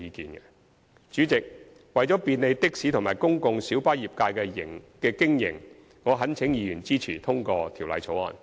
代理主席，為便利的士及公共小巴業界的經營，我懇請議員支持通過《條例草案》。